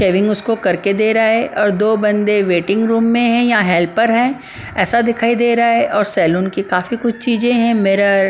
shaving उसको कर के दे रहा है और दो बंदे वेटिंग रूम में है या हेल्पर है ऐसा दिखाई दे रहा है और सलून की काफी कुछ चीजें हैं मिरर --